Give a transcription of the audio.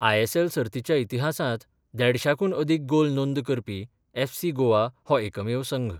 ISL सर्तीच्या इतिहासांत देडशांकून अदीक गोल नोंद करपी एफसी गोवा हो एकमेव संघ